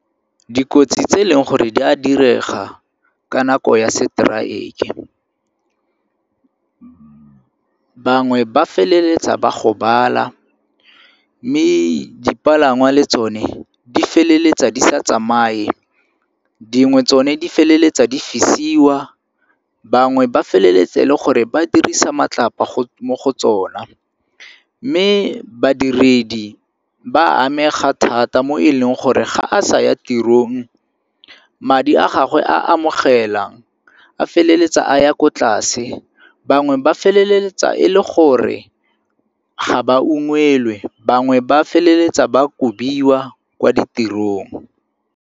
Dikotsi tse e leng gore di a direga ka nako ya seteraeke. Bangwe ba feleletsa ba gobala mme dipalangwa le tsone di feleletsa di sa tsamaye, dingwe tsone di feleletsa di fisiwa, bangwe ba feleletsa e le gore ba dirisa matsapa go mo go tsona. Mme badiredi ba amega thata mo e leng gore ga a sa ya tirong madi a gagwe a amogela a feleletsa a ya ko tlase, bangwe ba feleletsa e le gore ga ba ungwelwe, bangwe ba feleletsa ba kobiwa kwa ditirong.